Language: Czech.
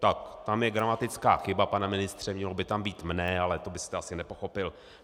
Tak tam je gramatická chyba, pane ministře, mělo by tam být mne, ale to byste asi nepochopil.